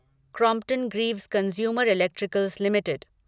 Crompton Greaves consumer electricals limited